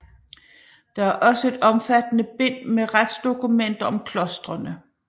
Der er også et omfattende bind med retsdokumenter om klostrene